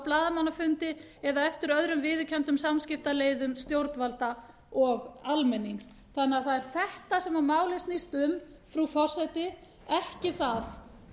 blaðamannafundi eða eftir öðrum viðurkenndum samskiptaleiðum stjórnvalda og almennings það er þetta sem málið snýst um frú forseti ekki það